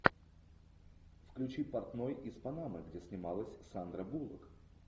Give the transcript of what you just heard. включи портной из панамы где снималась сандра буллок